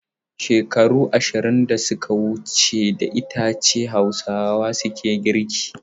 Shekaru ashirin da suka wuce da icce Hausawa ke girki.